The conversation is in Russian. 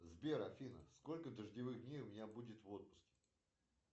сбер афина сколько дождевых дней у меня будет в отпуске